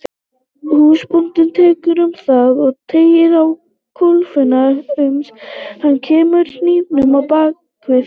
Húsbóndinn tekur um þau og teygir á kólfunum uns hann kemur hnífnum á bak við.